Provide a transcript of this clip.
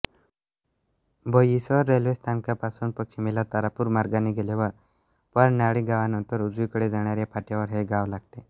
बोईसर रेल्वे स्थानकापासून पश्चिमेला तारापूर मार्गाने गेल्यावर परनाळी गावानंतर उजवीकडे जाणाऱ्या फाट्यावर हे गाव लागते